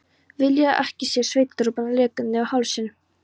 Vilja ekki sjá svitadropana leka niður hálsinn.